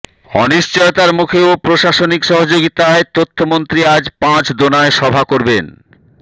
অনিশ্চয়তার মুখেও প্রশাসনিক সহযোগিতায় তথ্যমন্ত্রী আজ পাঁচদোনায় সভা করবেন